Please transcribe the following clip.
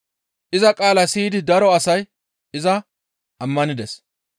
Iza qaalaa siyidi daro asay iza ammanides.